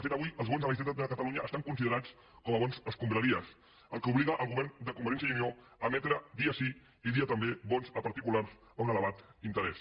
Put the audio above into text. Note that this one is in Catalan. de fet avui els bons de la generalitat de catalunya estan considerats com a bons escombraries fet que obliga el govern de convergència i unió a emetre dia sí i dia també bons a particulars a un elevat interès